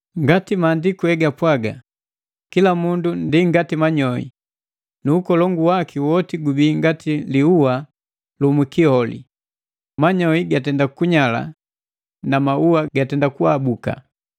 Ngati Maandiku egapwaga: “Kila mundu ndi ngati manyoi, nu ukolongu waki woti gubii ngati liua lu mwikioli. Manyoi gatenda kunyala na maua gatenda kuabuka.